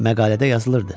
Məqalədə yazılırdı.